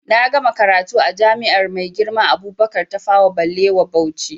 Na gama karatu a jami'ar Maigirma Abubakar Tafawa Ɓalewa Bauchi